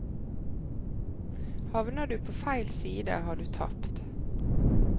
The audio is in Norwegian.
Havner du på feil side, har du tapt.